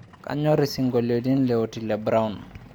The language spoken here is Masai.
kanyorr isingolini le otile brown